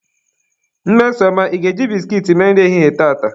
Mmesoma, ị ga-eji biskit mee nri ehihie tata!